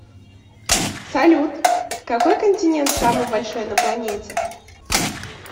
салют какой континент самый большой на планете